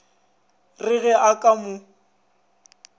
re ge a ka mo